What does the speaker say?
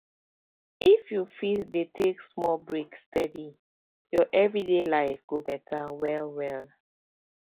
if you fit dey take small breaks steady your everyday life go better well well